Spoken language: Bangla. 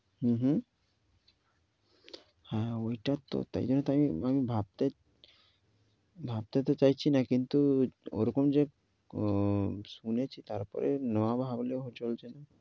হু হু, হ্যাঁ ঐটা তো তাইলে তাইলে ভাবতে, ভাবতে তো চাইছি না কিন্তু ও রকম যে শুনেছি। তারপরে না ভাবলেও চলছে না।